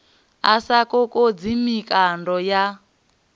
a sa kokodzi mikando yo